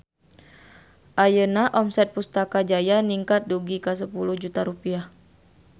Ayeuna omset Pustaka Jaya ningkat dugi ka 10 juta rupiah